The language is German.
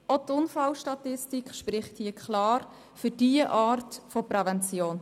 Auch die Unfallstatistik spricht klar für diese Art von Prävention.